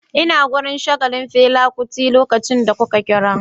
Ina wurin shagalin Fela Kuti lokacin da kuka kira